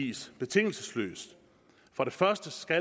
gives betingelsesløst for det første skal